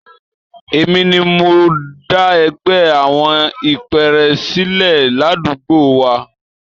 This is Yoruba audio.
Èmi ni mo dá ẹgbẹ́ àwọn ìpẹ́ẹ́rẹ́ sílẹ̀ ládùúgbò wa.